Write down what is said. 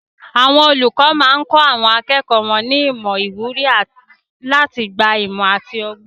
Àwọn olùkọ́ máa ń kọ́ àwọn akẹ́kọ̀ọ́ ní ìmọ̀ àti ìwúrí láti gba ìmọ̀ àti ọgbọ́n.